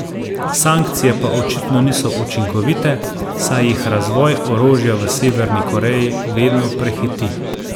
Sankcije pa očitno niso učinkovite, saj jih razvoj orožja v Severni Koreji vedno prehiti.